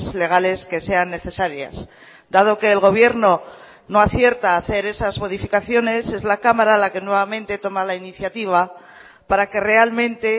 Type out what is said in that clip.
legales que sean necesarias dado que el gobierno no acierta a hacer esas modificaciones es la cámara la que nuevamente toma la iniciativa para que realmente